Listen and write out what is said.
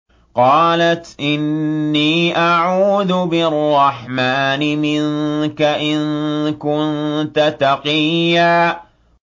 قَالَتْ إِنِّي أَعُوذُ بِالرَّحْمَٰنِ مِنكَ إِن كُنتَ تَقِيًّا